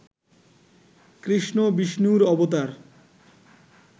কৃষ্ণ বিষ্ণুর অবতার